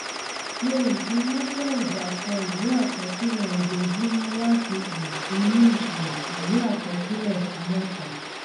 ṣe ìfiránsẹ ìdàkọ ìwé àkọsílẹ ojoojúmọ láti um inú um ìwé àkọsílẹ ṣí mẹta